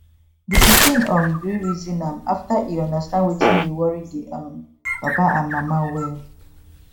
di pikin um gree reason am after e understand wetin dey worry di um papa and mama well